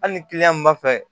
Hali ni kiliyan min b'a fɛ